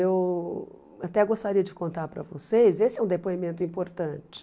Eu até gostaria de contar para vocês, esse é um depoimento importante.